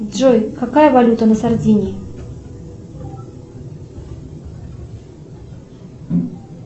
джой какая валюта на сардинии